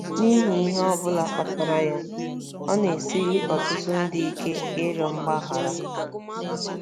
N'ihi ihe ọ bụla kpatara ya, ọ na-esiri ọtụtụ ndị ike ịrịọ mgbaghara.